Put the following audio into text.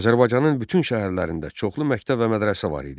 Azərbaycanın bütün şəhərlərində çoxlu məktəb və mədrəsə var idi.